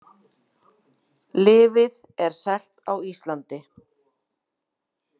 Lyfið er selt á Íslandi